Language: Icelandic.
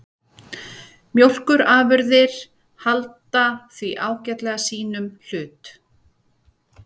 Mjólkurafurðir halda því ágætlega sínum hlut